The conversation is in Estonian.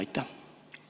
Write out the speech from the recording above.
Aitäh!